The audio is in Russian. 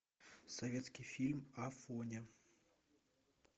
советский фильм афоня